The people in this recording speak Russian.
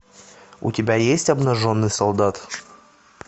у тебя есть обнаженный солдат